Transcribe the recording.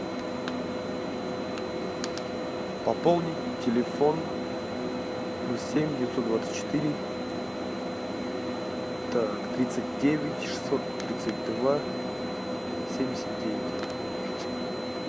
пополнить телефон плюс семь девятьсот двадцать четыре так тридцать девять шестьсот тридцать два семьдесят девять